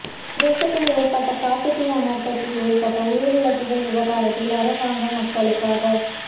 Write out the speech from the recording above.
கிரேக்கத்தில் ஏற்பட்ட காட்டுத் தீ அனர்த்தத்தில் ஏற்பட்ட உயிரிழப்புகள் விவகாரத்தில் அரசாங்கம் மக்களுக